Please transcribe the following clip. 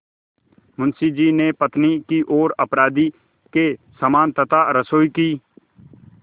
मुंशी जी ने पत्नी की ओर अपराधी के समान तथा रसोई की